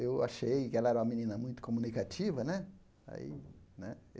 Eu achei que ela era uma menina muito comunicativa né. Aí né